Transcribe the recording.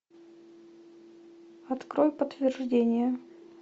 открой подтверждение